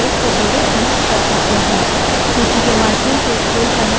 सूची के माध्यम से scroll करने के लिए enter दबायें